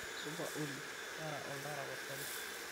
Supa olly, taara oltaa tapasali